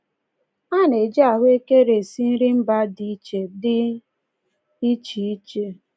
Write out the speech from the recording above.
A na-eji ahụekere esi nri mba dị iche dị iche iche.